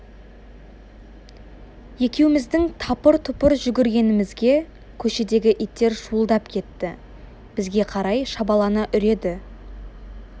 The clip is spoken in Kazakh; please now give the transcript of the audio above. екеуіміздің тапыр-тұпыр жүгіргенімізге көшедегі иттер шуылдап кетті бізге қарай шабалана үреді